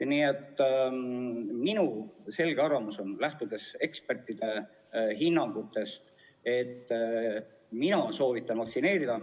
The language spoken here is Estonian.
Nii et minu selge arvamus on, lähtudes ekspertide hinnangutest, vaktsineerida.